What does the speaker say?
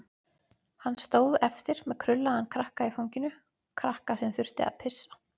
Hann stóð eftir með krullaðan krakka í fanginu, krakka sem þurfti að pissa.